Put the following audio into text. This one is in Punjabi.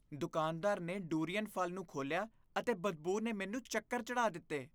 ਦੁਕਾਨਦਾਰ ਨੇ ਡੁਰੀਅਨ ਫ਼ਲ ਨੂੰ ਖੋਲ੍ਹਿਆ ਅਤੇ ਬਦਬੂ ਨੇ ਮੈਨੂੰ ਚੱਕਰ ਚੜ੍ਹਾਅ ਦਿੱਤੇ।